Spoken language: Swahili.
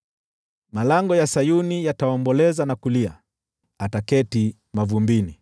Malango ya Sayuni yataomboleza na kulia, ataketi mavumbini akiwa fukara.